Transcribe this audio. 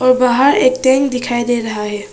बाहर एक टेंट दिखाई दे रहा है।